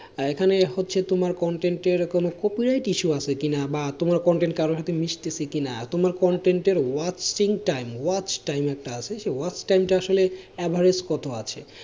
এখানে হচ্ছে তোমার content এর কোনো copyright issue আছে কিনা বা তোমার content কারু সাথে mixed আছে কিনা তোমার content এর watching time, watch time একটা আছে সে watch time টা আসলে average কত আছে,